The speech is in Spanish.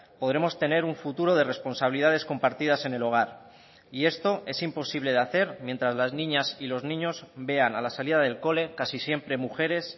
podremos tener un futuro de responsabilidades compartidas en el hogar y esto es imposible de hacer mientras las niñas y los niños vean a la salida del cole casi siempre mujeres